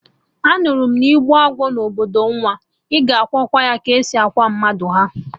Anụrụ m na-igbuo agwọ na obodo nwa, ị ga akwa ya ka esi akwa mmadụ, ha!